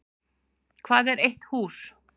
Hvað er eitt hús?